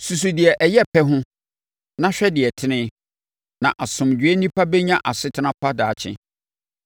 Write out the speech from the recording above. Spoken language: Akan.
Susu deɛ ɔyɛ pɛ ho, na hwɛ deɛ ɔtene; na asomdwoeɛ onipa bɛnya asetena pa daakye.